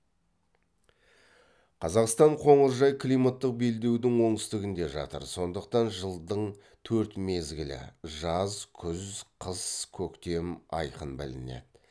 қазақстан коңыржай климаттық белдеудің оңтүстігінде жатыр сондықтан жылдың төрт мезгілі жаз күз қыс көктем айқын білінеді